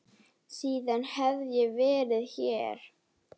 Síðan hef ég verið hér.